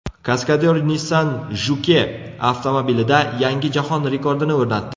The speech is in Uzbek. Kaskadyor Nissan Juke avtomobilida yangi jahon rekordini o‘rnatdi.